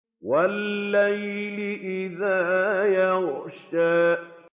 وَاللَّيْلِ إِذَا يَغْشَىٰ